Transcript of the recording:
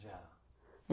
Já.